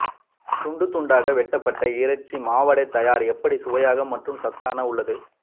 துண்டு துண்தாக வெட்டப்பட்ட இறைச்சி மாவடை தயார் எப்படி சுவையாக மற்றும் சத்தான உள்ளது